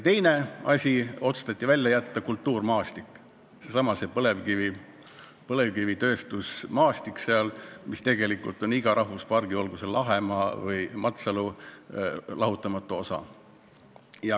Teiseks otsustati välja jätta kultuurmaastik, seesama põlevkivitööstusmaastik seal, mis tegelikult on iga rahvuspargi, olgu see Lahemaa või Matsalu, lahutamatu osa.